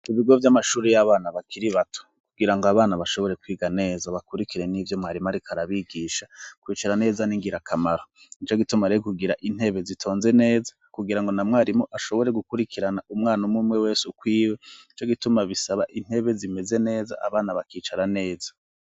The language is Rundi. Ibigo vy'amashuri vy'abana bakiri bato kugira ngo abana bashobore kwiga neza bakurikire n'ibyo mwarimu ari karabigisha kwicara neza n'ingirakamaro ico gituma rire kugira intebe zitonze neza kugira ngo na mwarimu ashobore gukurikirana umwana umumwe wese ukwiwe ico gituma bisaba intebe zimeze neza abana bakicara neza.